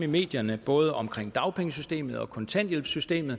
medierne både om dagpengesystemet og kontanthjælpssystemet